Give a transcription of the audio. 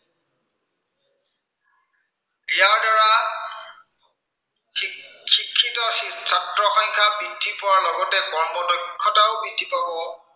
শিক্ষিত ছাত্ৰৰ সংখ্য়া বৃদ্ধি পোৱাৰ লগতে কৰ্ম দক্ষতাও বৃদ্ধি পাব।